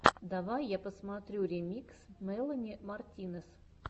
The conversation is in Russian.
давай я посмотрю ремикс мелани мартинес